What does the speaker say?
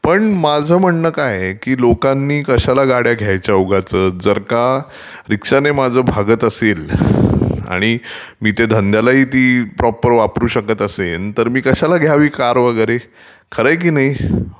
पण माझ म्हणणं काय आहे लोकांनी कशाला गाड्या घ्यायच्या उगाचच, जर का रीक्षाने माझं भागत असेल आणि मी ती धंद्याला ही देईन, प्रॉपर वापरू शकतं असेन तर कशाला घ्यावी मी कार वगैरे...खरं आहे की नाही..?